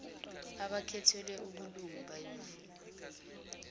abakhethelwe ubulungu bayovuma